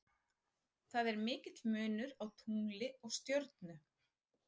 Það er mikill munur á tungli og stjörnu.